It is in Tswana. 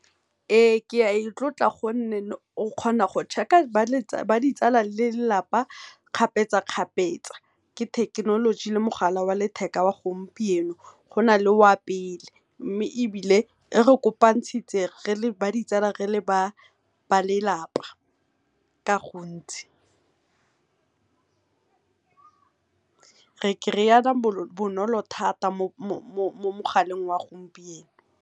Ee, ke a itlotla gonne o kgona go check-a ba ditsala le lelapa kgapetsa-kgapetsa ke thekenoloji le mogala wa letheka oa gompieno, gona le wa pele mme ebile e re kopantshitse le ba ditsala le ba lelapa ka gontsi, re kry-ana bonolo thata mo mogaleng wa gompieno.